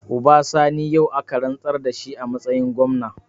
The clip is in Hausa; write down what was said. Uba Sani yau aka rantsar da shi a matsayin gwamna.